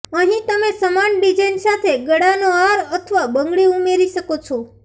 અહીં તમે સમાન ડિઝાઇન સાથે ગળાનો હાર અથવા બંગડી ઉમેરી શકો છો